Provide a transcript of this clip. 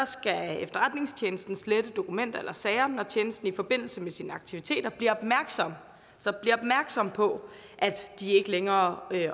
skal efterretningstjenesten slette dokumenter eller sager når tjenesten i forbindelse med sine aktiviteter bliver opmærksom på at de ikke længere